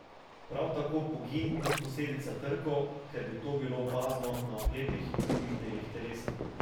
Prav tako pogin ni posledica trkov, ker bi to bilo opazno na oklepih in drugih delih telesa.